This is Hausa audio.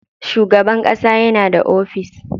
Shugaban ƙasa yana da ofis.